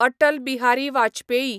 Atal Bihari Vajpayee